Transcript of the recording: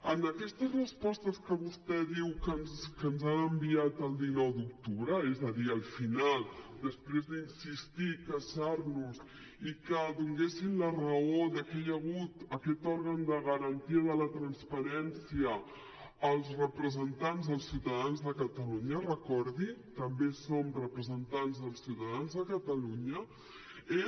en aquestes respostes que vostè diu que ens han enviat el dinou d’octubre és a dir al final després d’insistir i queixar nos i que donessin la raó de que hi ha hagut aquest òrgan de garantia de la transparència als representants dels ciutadans de catalunya recordi ho també som representants dels ciutadans de catalunya